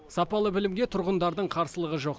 сапалы білімге тұрғындардың қарсылығы жоқ